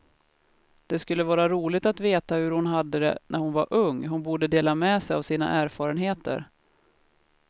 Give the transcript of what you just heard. Det skulle vara roligt att veta hur hon hade det när hon var ung, hon borde dela med sig av sina erfarenheter.